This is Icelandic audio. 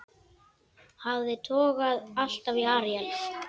Hafið togaði alltaf í Aríel.